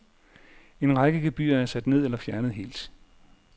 En række gebyrer er sat ned eller fjernet helt.